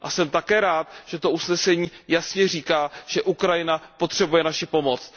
A jsem také rád, že to usnesení jasně říká, že Ukrajina potřebuje naši pomoc.